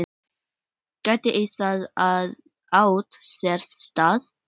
Gæti það átt sér stað?